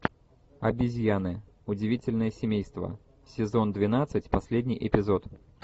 обезьяны удивительное семейство сезон двенадцать последний эпизод